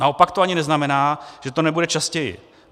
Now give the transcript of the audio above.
Naopak to ani neznamená, že to nebude častěji.